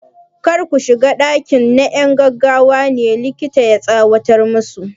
Kar ku shiga ɗakin! na 'yan gaggawa ne, likita ya tsawatar musu.